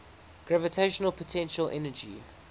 gravitational potential energy